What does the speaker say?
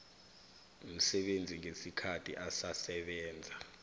msebenzi ngesikhathi asasebenza